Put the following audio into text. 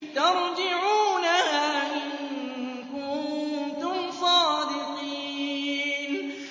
تَرْجِعُونَهَا إِن كُنتُمْ صَادِقِينَ